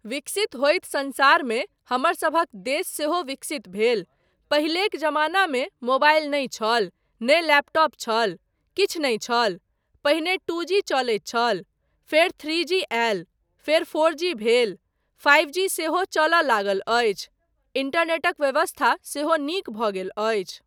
विकसित होइत संसारमे हमरसभक देश सेहो विकसित भेल, पहिलेक जमानामे मोबाइल नहि छल, नहि लैपटॉप छल, किछु नहि छल, पहिने टू जी चलैत छल, फेर थ्री जी आयल, फेर फोर जी भेल, फाइव जी सेहो चलय लागल अछि, इन्टरनेटक व्यवस्था सेहो नीक भऽ गेल अछि।